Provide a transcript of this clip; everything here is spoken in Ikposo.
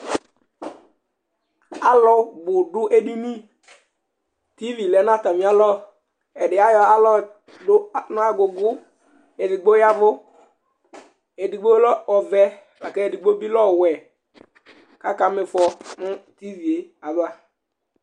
Alʋ bʋ dʋ edini, tivi lɛ nʋ atamɩalɔ Ɛdɩ ayɔ aɣla dʋ nʋ agʋgʋ Edigbo ya ɛvʋ, edigno lɛ ɔvɛ la kʋ edigbo lɛ ɔwɛ kʋ akama ɩfɔ nʋ tivi yɛ ava